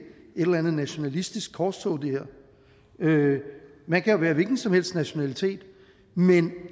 eller andet nationalistisk korstog man kan være af hvilken som helst nationalitet men